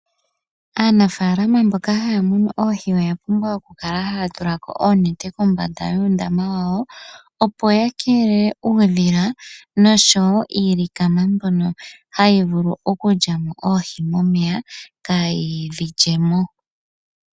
Aanafalama mboka haya munu oohi oya pumbwa oku kala haya tula ko oonete kombanda yuundama wawo opo ya kelele uudhila niilikama mbyono hayi vulu okulyamo oohi momeya ka yidhi lyemo.